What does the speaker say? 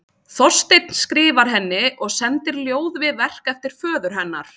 Þorsteinn skrifar henni og sendir ljóð við verk eftir föður hennar.